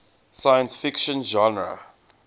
science fiction genre